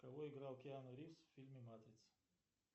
кого играл киану ривз в фильме матрица